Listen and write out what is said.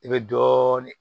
I bɛ dɔɔnin